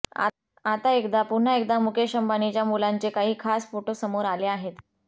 आता एकदा पुन्हा एकदा मुकेश अंबानीच्या मुलांचे काही खास फोटो समोर आले आहेत